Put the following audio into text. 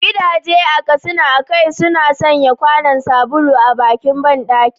Gidaje a Katsina akai-akai suna sanya kwanon sabulu a bakin bandaki.